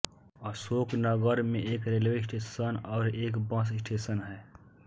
अशोकनगर में एक railway station और एक बस स्टेशन हैं